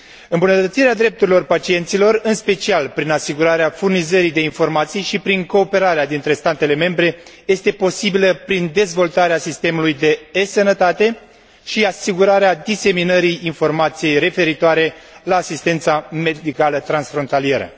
Îmbunătățirea drepturilor pacienților, în special prin asigurarea furnizării de informații și prin cooperarea dintre statele membre, este posibilă prin dezvoltarea sistemului de e sănătate și asigurarea diseminării informației referitoare la asistența medicală transfrontalieră.